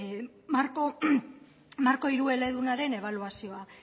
marko hiru eledunaren ebaluazioa